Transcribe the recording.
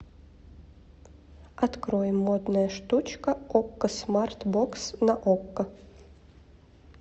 открой модная штучка окко смарт бокс на окко